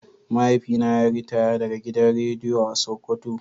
Mahaifina yayi ritaya daga gidan rediyo a sokoto.